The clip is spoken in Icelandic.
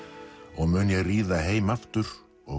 og mun ég ríða heim aftur og